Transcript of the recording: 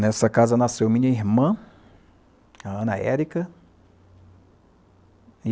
Nessa casa nasceu a minha irmã, a Ana Erika, e...